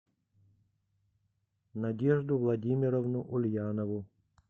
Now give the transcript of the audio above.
надежду владимировну ульянову